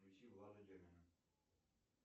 включи влада демина